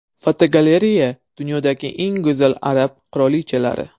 Fotogalereya: Dunyodagi eng go‘zal arab qirolichalari.